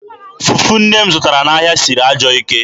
Fufu nne m zụtara n'ahịa siri ajọọ ike.